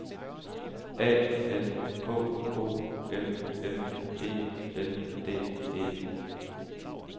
A N K O M M E N D E